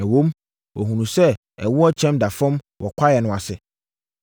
ɛwom, wɔhunuu sɛ ɛwoɔ kyɛm da fam wɔ kwaeɛ no ase.